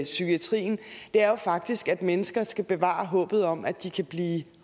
psykiatrien er jo faktisk at mennesker skal bevare håbet om at de kan blive